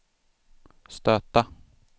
stöta